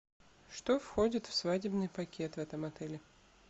что входит в свадебный пакет в этом отеле